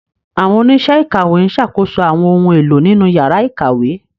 Àwọn oníṣẹ́ ìkàwé ń ṣàkóso àwọn ohun èlò nínú yàrá ìkàwé.